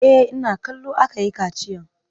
E, ina kallo aka yi kaciyan.